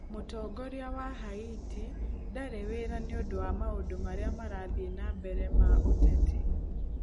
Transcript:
Mũtongoria wa Haiti ndarĩ wĩra nĩ ũndũ wa maũndũ marĩa marathiĩ na mbere ma ũteti.